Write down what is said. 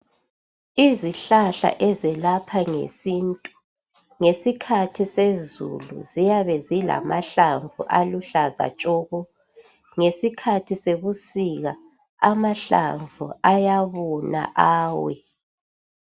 Izihlahla ezelapha ngesintu ngesikhathi sezulu ziyabe zilamahlamvu aluhlaza tshoko. Ngesikhathi sebusika amahlamvu ayabona awe.